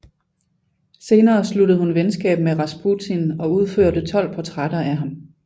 Senere sluttede hun venskab med Rasputin og udførte tolv portrætter af ham